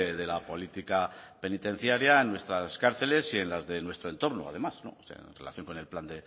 de la política penitenciaria en nuestras cárceles y en las de nuestro entorno además o sea en relación con el plan